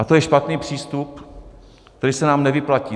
A to je špatný přístup, který se nám nevyplatí.